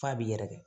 F'a b'i yɛrɛkɛ